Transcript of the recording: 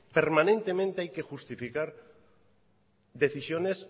permanentemente hay que justificar decisiones